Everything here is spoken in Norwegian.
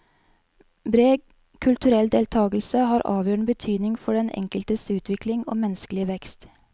Bred kulturell deltakelse har avgjørende betydning for den enkeltes utvikling og menneskelige vekst.